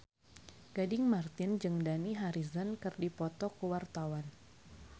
Gading Marten jeung Dani Harrison keur dipoto ku wartawan